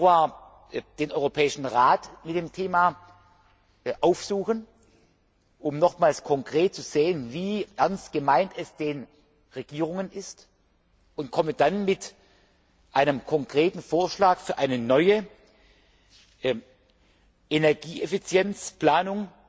will am 4. Februar den Europäischen Rat mit dem Thema befassen, um nochmals konkret zu sehen, wie ernst es die Regierungen damit meinen, und komme dann mit einem konkreten Vorschlag für eine neue Energieeffizienzplanung